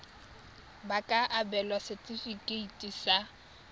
ba ka abelwa setefikeiti sa